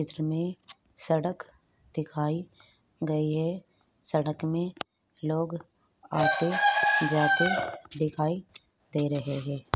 चित्र में सड़क दिखाई गई है सड़क में लोग आते जाते दिखाई दे रहे है।